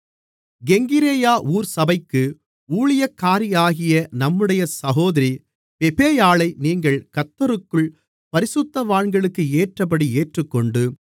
கெங்கிரேயா ஊர் சபைக்கு ஊழியக்காரியாகிய நம்முடைய சகோதரி பெபேயாளை நீங்கள் கர்த்தருக்குள் பரிசுத்தவான்களுக்கேற்றபடி ஏற்றுக்கொண்டு